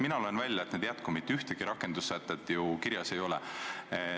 Mina loen välja, et need ei jätku, mitte ühtegi rakendussätet ju kirjas ei ole.